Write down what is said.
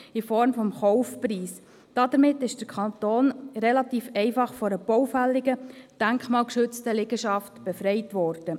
Damit wurde der Kanton relativ einfach von einer baufälligen, denkmalgeschützten Liegenschaft befreit. «